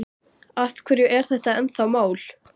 Kísiliðjan stofnuð af íslenska ríkinu og